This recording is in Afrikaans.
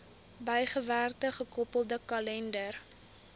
bygewerkte gekoppelde kalender